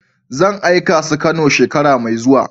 Zan aika su kanow shekara mai zuwa.